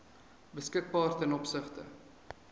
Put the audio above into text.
beskikbaar ten opsigte